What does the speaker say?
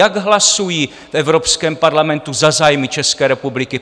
Jak hlasují v Evropském parlamentu za zájmy České republiky?